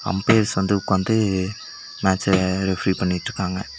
Umpires வந்து உக்காந்து மேச்ச ரெஃப்ரி பண்ணிட்ருக்காங்க.